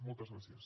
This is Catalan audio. moltes gràcies